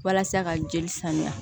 Walasa ka jeli saniya